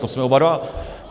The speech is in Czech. To jsme oba dva.